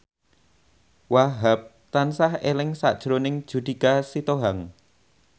Wahhab tansah eling sakjroning Judika Sitohang